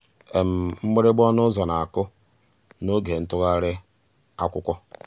mgbìrìgbà ọnụ́ ụ́zọ̀ ná-àkụ́ n'ògé ntụ́ghàrị́ um àkwụ́kwọ́.